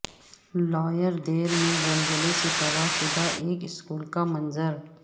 lower Dir میں زلزلے سے تباہ شدہ ایک سکول کا منظر